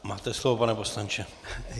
Máte slovo, pane poslanče.